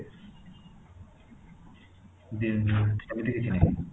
ଯେମିତି ସେମିତି କିଛି ନାହିଁ